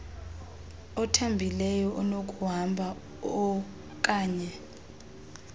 othambileyo onokuhamba oaknye